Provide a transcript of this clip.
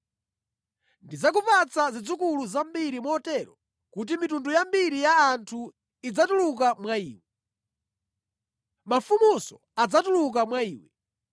Ndidzakupatsa zidzukulu zambiri motero kuti mitundu yambiri ya anthu idzatuluka mwa iwe. Mafumunso adzatuluka mwa iwe.